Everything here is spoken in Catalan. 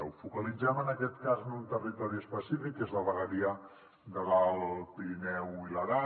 ho focalitzem en aquest cas en un territori específic que és la vegueria de l’alt pirineu i l’aran